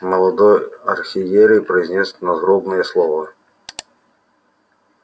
молодой архиерей произнёс надгробное слово